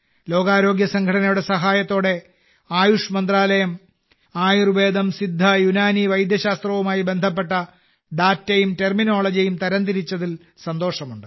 ലോകാരോഗ്യ സംഘടനയുടെ സഹായത്തോടെ ആയുഷ് മന്ത്രാലയം ആയുർവേദം സിദ്ധ യുനാനി വൈദ്യശാസ്ത്രവുമായി ബന്ധപ്പെട്ട ഡാറ്റയും ടെർമിനോളജിയും തരംതിരിച്ചതിൽ സന്തോഷമുണ്ട്